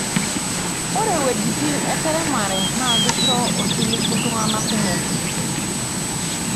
Ore wuejitin eseremare naa keisho osiligi intung'anak kumok.